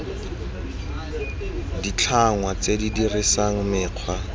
ditlhangwa tse di dirisang mekgwa